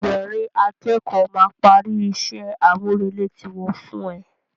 Ẹgbẹ̀rin a kẹ́kọ̀ọ́ máa parí ìṣe àmúrelé tí wọ́n fún ẹ